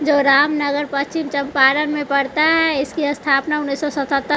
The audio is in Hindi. जो रामनगर पश्चिम चंपारण में पड़ता है इसकी अस्थापना उन्नीस सौ सत्तर --